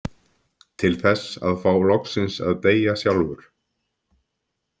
Til þess að fá loksins að deyja sjálfur.